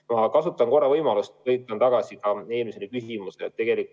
Ma kasutan võimalust ja põikan tagasi eelmise küsimuse juurde.